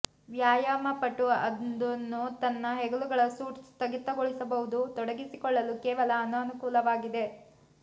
ವ್ಯಾಯಾಮಪಟು ಅದನ್ನು ತನ್ನ ಹೆಗಲುಗಳ ಸೂಟ್ ಸ್ಥಗಿತಗೊಳ್ಳಬಹುದು ತೊಡಗಿಸಿಕೊಳ್ಳಲು ಕೇವಲ ಅನಾನುಕೂಲ ಆಗಿದೆ